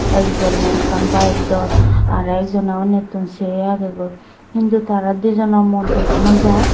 ekjoney ekkan bayeg dor aro ekjoney unnitun se agegoi hintu dijono mu dega nojai.